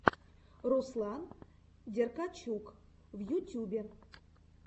руслан деркачук в ютюбе